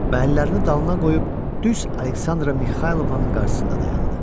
Və əllərini dalına qoyub düz Aleksandra Mixaylovnanın qarşısında dayandı.